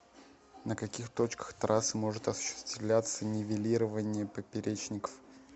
на каких точках трассы может осуществляться нивелирование поперечников